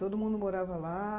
Todo mundo morava lá.